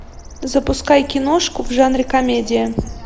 запускай киношку в жанре комедия